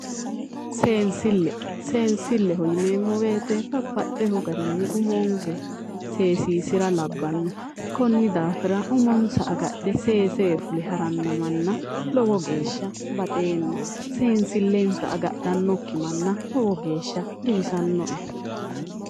seensille seensilleho yineemmowoyite babbaxxino garinni umonke seesiisira labbanno konni daafira umonsa agadhe seese fule haranno manna lowo geeshshs baxeemma seensillensa agadhannokki manna kayinni lowo geeshsha giwisannoe.